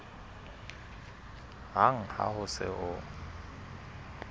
hang ha ho se ho